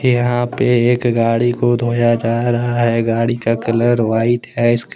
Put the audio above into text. यहां पे एक गाड़ी को धोया जा रहा हैगाड़ी का कलर व्हाइट हैइसके--